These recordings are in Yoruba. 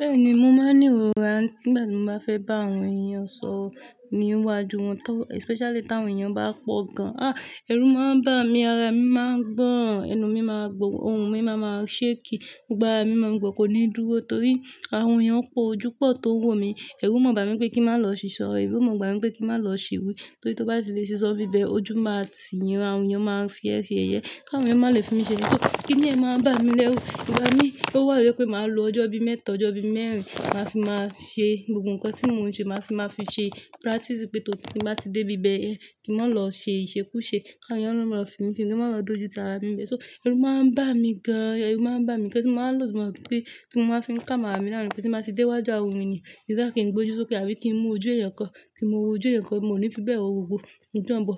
Bẹ́ẹ̀ni, mo máa ń ní ìrora nígbà tí mo bá fẹ́ bá àwọn èèyàn sọ̀rọ̀ ní iwájú wọn, especially tí àwọn èèyàn bá pọ̀ gan. Ah! Ẹrù máa ń bá mi, ara mi máa ń gbọ́n, ẹnu mi máa gbón, ohùn mi máa máa ṣe èkì, gbogbo ara mi máa ń gbó kó ní dúró torí àwọn èèyàn pọ̀, ojú pọ̀ tó wò mí. Ẹrù máa ń bá mi pé kí n má lọ ṣìṣọ́, ẹrù máa ń bá mi pé kí n má lọ ṣìwí torí tó bá ti lè ṣe sọ nbibe, ojú máa tì yín, àwọn èèyàn máa fi ẹ̀ seyẹ̀yẹ. Ká àwọn èèyàn má lè fi mí ṣe ni. So kí ni ẹ máa ń bá mi lẹ́rú? Ẹ̀wà ní pé ó wà lọ́pẹ́ màá lo ọjọ́ bí mẹ́ẹ̀ta, ọjọ́ bí mẹ́rin, màá fi máa ṣe gbogbo nǹkan tí mo ń se, màá fi máa fi ṣe practice pé tó bá ti dé bí bẹ́ẹ̀, kí n má lọ ṣe ìṣekúṣe ká àwọn èèyàn lọ́ lọ fi mí ṣe, kí wọn má lọ dojú tà ara mi bẹ́ẹ̀. So ẹrù máa ń bá mi gan, ẹrù máa ń bá mi kí ẹ ti má lòdì mọ̀ pé tí mo máa fín kà amára mi lánàá ni pé tí mo bá ti dé iwájú àwọn ènìyàn, it's like kí n gbe ojú sókè àbí kí n mú ojú ẹeyan kan, kí n ma wó ojú eẹyan kan, mo ní fíbẹ̀ wò gbógbó, ojú ọ̀nbo.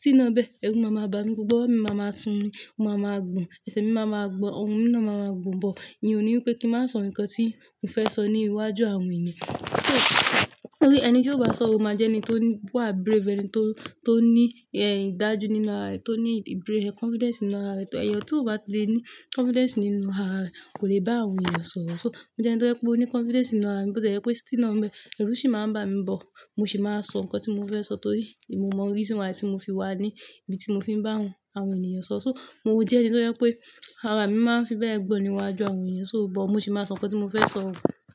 Síná bẹ́ẹ̀, ẹrù máa máa bá mi gbogbo, mi máa máa sun ún, mo máa máa gbón, ẹsẹ̀ mi máa máa gbó, ohùn mi náà máa máa gbó bọ̀. Ìyẹn ò ní wípé kí n má sọ nǹkan tí mo fẹ́ sọ ní iwájú àwọn ènìyàn. So torí ẹni tí ó bá sọ òun máa jẹ́ ẹni tó ní, wà brave, ẹni tó, tó ní, ẹ́, ìdájú nínú ara rẹ̀, tó ní ìbèrè, confidence nínú ara rẹ̀. Ẹ̀yan tí ó bá lè ní confidence nínú ara rẹ̀ kò lè bá àwọn èèyàn sọ̀rọ̀. So mo jẹ́ ẹni tó yẹ kó ní confidence nínú ara mi bó ti yẹ pé síná bẹ́ẹ̀, ẹrù sì máa ń bá mi bọ̀. Mo sì máa ń sọ nǹkan tí mo fẹ́ sọ torí ìmo mọ̀ orísìírísìí àwọn ẹ̀sìn tí mo fi wà ní ibi tí mo fi ń bá àwọn, àwọn ènìyàn sọ̀rọ̀. So mò ń jẹ́ ẹni tó jẹ pé ara mi máa ń fi bẹ́ẹ̀ gbón ní iwájú àwọn èèyàn, so bọ̀ mo sì máa ń sọ nǹkan tí mo fẹ́ sọ.